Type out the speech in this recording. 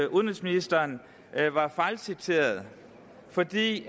udenrigsministeren var fejlciteret fordi